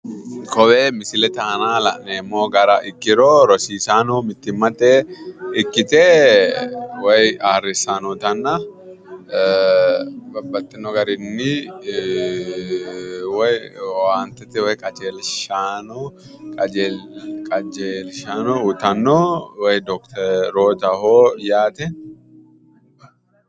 Kowee misileeti aana la'neemmo gara ikkiro rosiisaanno mittimmatenni ikkite woy ayyrsanni noota babbaxino garinni woy aantete qajeelshaanno uytanno woy dokiterootaho yaate.